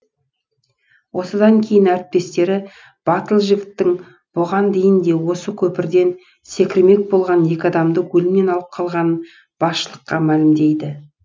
осыдан кейін әріптестері батыл жігіттің бұған дейін де осы көпірден секірмек болған екі адамды өлімнен алып қалғанын басшылыққа мәлімдейді